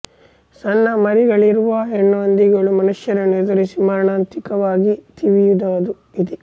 ಸಣ್ಣ ಮರಿಗಳಿರುವ ಹೆಣ್ಣುಹಂದಿಗಳು ಮನುಷ್ಯರನ್ನೂ ಎದುರಿಸಿ ಮಾರಣಾಂತಿಕವಾಗಿ ತಿವಿಯುವದೂ ಇದೆ